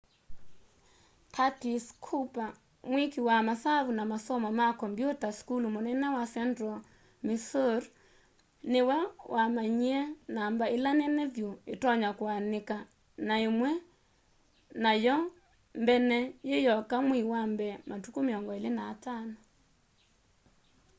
curtis cooper mwĩkĩ wa masavu na masomo ma kombyũta sukulu mũnene wa central missouri nĩwe wamanyĩe namba ĩla nene vyũ ĩtonya kũanĩka na ĩmwe na yo mbene yĩyoka mweĩ wa mbee matukũ 25